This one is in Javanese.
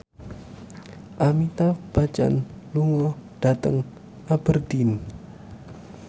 Amitabh Bachchan lunga dhateng Aberdeen